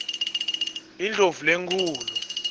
indlovulenkhulu